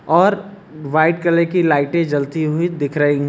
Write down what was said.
और white colour की लाइटे जलती हुई दिख रही--